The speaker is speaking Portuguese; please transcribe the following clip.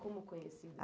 Como conhecida?